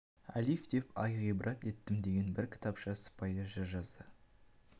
әлиф деп ай ғибрат еттім деген бір кітапша сыпайы жыр жазды